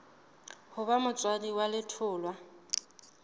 ho ba motswadi wa letholwa